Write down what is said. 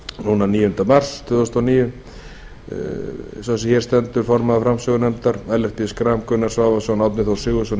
núna níunda mars tvö þúsund og níu sá sem hér stendur formaður framsögunefndar ellert g schram gunnar svavarsson árni þór sigurðsson